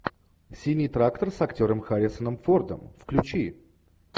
синий трактор с актером харрисоном фордом включи